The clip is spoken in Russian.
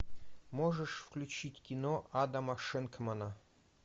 можешь включить кино адама шенкмана